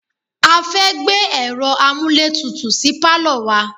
A fẹ́ gbé ẹ̀ro amúlétutù sí pálọ̀ wa.